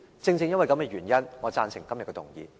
正正因為這個原因，我贊成今天的議案。